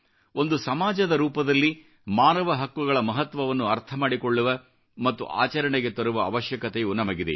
ಒಂದು ಸಮಾಜದ ರೂಪದಲ್ಲಿ ಮಾನವ ಹಕ್ಕುಗಳ ಮಹತ್ವವನ್ನು ಅರ್ಥ ಮಾಡಿಕೊಳ್ಳುವ ಮತ್ತು ಆಚರಣೆಗೆ ತರುವ ಅವಶ್ಯಕತೆಯು ನಮಗಿದೆ